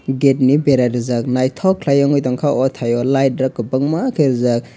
gate ni bera rijak naitotok kelaioe wngoi tankha o tai o light rok kobangma ke rijak.